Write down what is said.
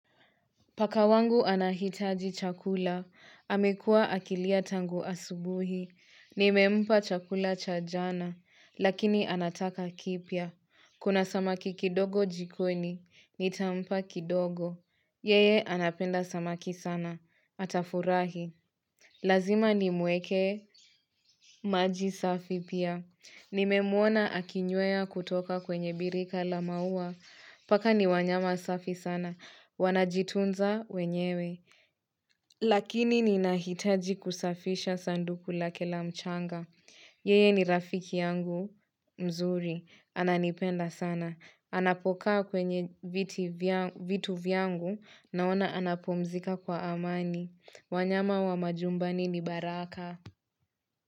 Pakawangu anahitaji chakula, amekua akilia tangu asubuhi, nimempa chakula chajana, lakini anataka kipya, kuna samaki kidogo jikoni, nitampa kidogo, yeye anapenda samaki sana, atafurahi. Lazima ni mweke, maji safi pia nimemuona akinywea kutoka kwenye birika la maua paka ni wanyama safi sana wanajitunza wenyewe lakini ninahitaji kusafisha sanduku lake la mchanga yeye ni rafiki yangu mzuri ananipenda sana apokaa kwenye viti vitu vyangu naona anapumzuka kwa amani wanyama wa nyumbani ni baraka.